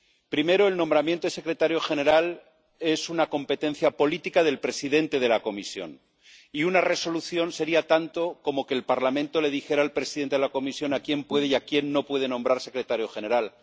Primero el nombramiento de secretario general es una competencia política del presidente de la Comisión y una resolución sería tanto como que el Parlamento le dijera al presidente de la Comisión a quién puede y a quién no puede nombrar secretario general.